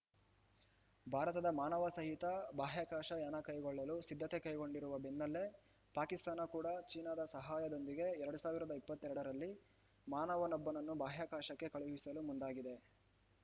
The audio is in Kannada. ಭಾರತದ ಮಾನವ ಸಹಿತ ಬಾಹ್ಯಾಕಾಶ ಯಾನ ಕೈಗೊಳ್ಳಲು ಸಿದ್ಧತೆ ಕೈಗೊಂಡಿರುವ ಬೆನ್ನಲ್ಲೇ ಪಾಕಿಸ್ತಾನ ಕೂಡ ಚೀನಾದ ಸಹಾಯದೊಂದಿಗೆ ಎರಡ್ ಸಾವಿರದ ಇಪ್ಪತ್ತೆರಡರಲ್ಲಿ ಮನವನೊಬ್ಬನನ್ನು ಬಾಹ್ಯಾಕಾಶಕ್ಕೆ ಕಳುಹಿಸಲು ಮುಂದಾಗಿದೆ